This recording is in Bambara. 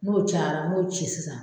N'o cayara n m'o ci sisan.